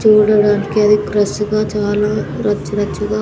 చూడడానికి అది క్రష్ గా చాలా రచ్చు రచ్చుగా--